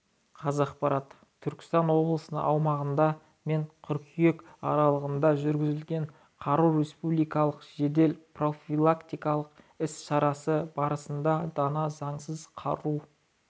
қазақпарат түркістан облысының аумағында мен қыркүйек аралығында жүргізілген қару республикалық жедел-профилактикалық іс-шарасы барысында дана заңсыз қару